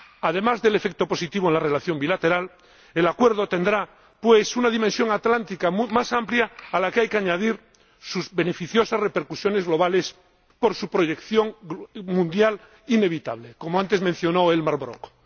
Además del efecto positivo en la relación bilateral, el Acuerdo tendrá una dimensión atlántica más amplia, a la que hay que añadir sus beneficiosas repercusiones globales por su proyección mundial inevitable, como antes ha mencionado Elmar Brok.